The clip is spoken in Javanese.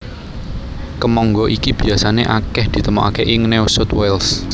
Kemangga iki biasané akèh ditemokaké ing New South Wales